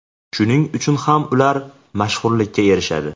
Shuning uchun ham ular mashhurlikka erishadi.